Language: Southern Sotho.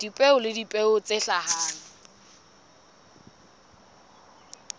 dipeo le dipeo tse hlahang